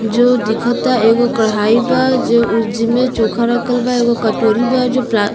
जो दिखता एगो कड़ाई बा जो उज में चोखा रखल बा। एगो कटोरी बा जो प्ला --